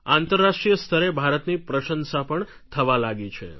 આંતરરાષ્ટ્રીય સ્તરે ભારતની પ્રશંસા પણ થવા લાગી છે